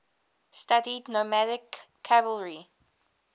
studied nomadic cavalry